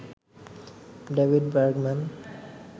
David Bergman